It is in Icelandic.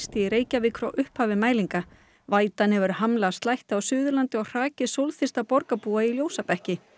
í Reykjavík frá upphafi mælinga vætan hefur hamlað slætti á Suðurlandi og hrakið borgarbúa í ljósabekki